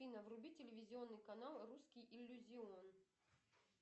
афина вруби телевизионный канал русский иллюзион